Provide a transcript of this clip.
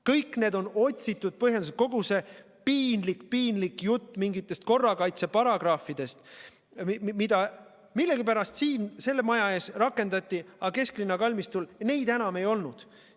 Kõik need on otsitud põhjendused – kogu see piinlik jutt mingitest korrakaitseparagrahvidest, mida millegipärast siin selle maja ees rakendati, aga kesklinna kalmistul need enam tähtsad ei olnud.